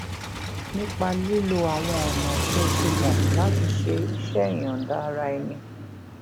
nípa lílo àwọn ọnà tó ti mọ láti ṣe iṣé ìyòǹda ara ẹni